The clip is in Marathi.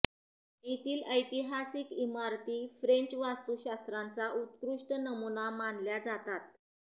येथील ऐतिहासिक इमारती फ्रेंच वास्तूशास्त्राचा उत्कृष्ट नमुना मानल्या जातात